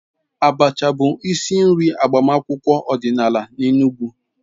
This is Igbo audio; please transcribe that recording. Abacha bụ isi nri n'agbamakwụkwọ ọdịnala n'Enugwu.